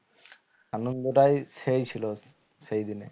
আনন্দটাই সেই ছিল সেই দিনে